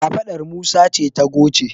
kafaɗar Musa ce ta goce